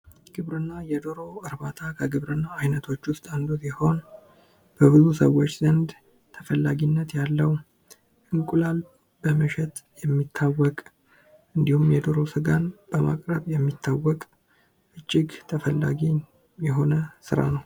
ግብርና የዶሮ እርባታ ከግብርና አይነቶች አንዱ ሲሆን በብዙ ሰዎች ዘንድ ተፈላጊነት ያለው እንቁላል በመሸጥ የሚታወቅ እንዲሁም የዶሮ ስጋን በማቅረብ የሚታወቅ እጅግ ተፈላጊ የሆነ ስራ ነው።